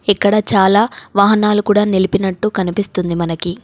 ఇక్కడ చాలా వాహనాలు కూడా నిలిపినట్టు కనిపిస్తుంది మనకి.